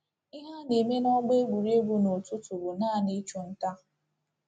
Ihe a na-eme n’ọgbọ egwuregwu n’ụtụtụ bụ naanị ịchụ nta.